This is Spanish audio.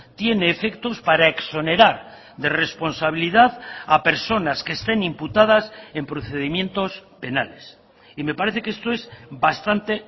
tiene efectos para exonerar de responsabilidad a personas que estén imputadas en procedimientos penales y me parece que esto es bastante